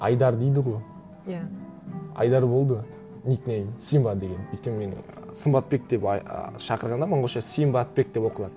айдар дейді ғой иә айдар болды ник нейм симба деген өйткені мені сымбатбек деп шақырғанда монғолша симбатбек деп оқылады